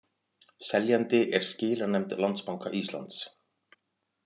Seljandi er skilanefnd Landsbanka Íslands